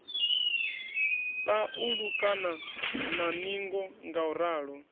pa ulukana na ningo ngauralo